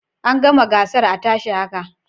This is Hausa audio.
An gama gasar a tashi haka